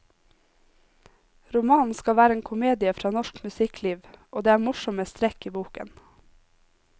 Romanen skal være en komedie fra norsk musikkliv, og det er morsomme strekk i boken.